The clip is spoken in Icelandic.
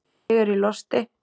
Ég er í losti.